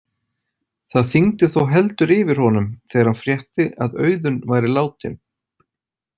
Það þyngdi þó heldur yfir honum þegar hann frétti að Auðunn væri látinn.